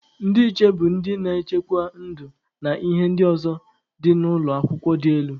Ndị nche bụ ndị na-echekwa ndụ na ihe ndị ọzọ dị n'ụlọ akwụkwọ dị elu.